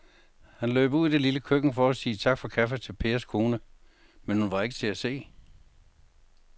Han løb ud i det lille køkken for at sige tak for kaffe til Pers kone, men hun var ikke til at se.